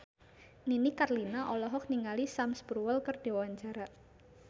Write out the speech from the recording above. Nini Carlina olohok ningali Sam Spruell keur diwawancara